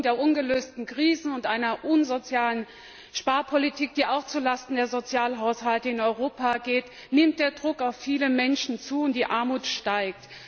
Aufgrund der ungelösten Krisen und einer unsozialen Sparpolitik, die auch zu Lasten der Sozialhaushalte in Europa geht, nimmt der Druck auf viele Menschen zu und die Armut steigt.